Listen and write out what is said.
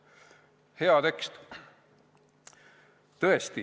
Hea tekst!